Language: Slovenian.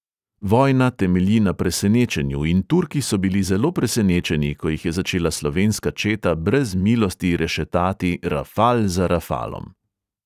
Vojna temelji na presenečenju in turki so bili zelo presenečeni, ko jih je začela slovenska četa brez milosti rešetati rafal za rafalom.